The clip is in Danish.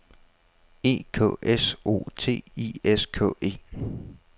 E K S O T I S K E